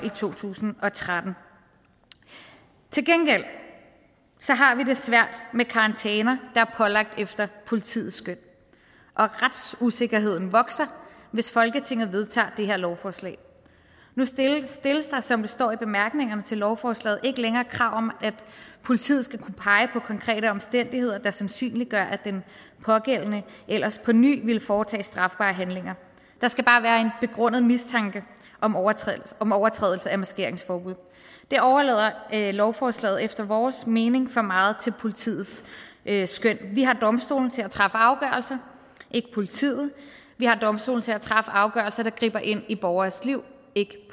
i to tusind og tretten til gengæld har vi det svært med karantæner der er pålagt efter politiets skøn og retsusikkerheden vokser hvis folketinget vedtager det her lovforslag nu stilles der som der står i bemærkningerne til lovforslaget ikke længere krav om at politiet skal kunne pege på konkrete omstændigheder der sandsynliggør at den pågældende ellers på ny ville foretage strafbare handlinger der skal bare være en begrundet mistanke om overtrædelse om overtrædelse af maskeringsforbud der overlader lovforslaget efter vores mening for meget til politiets skøn vi har domstolene til at træffe afgørelser ikke politiet vi har domstolene til at træffe afgørelser der griber ind i borgeres liv ikke